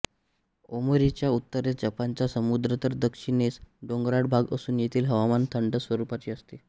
ओमोरीच्या उत्तरेस जपानचा समुद्र तर दक्षिणेस डोंगराळ भाग असून येथील हवामान थंड स्वरूपाचे असते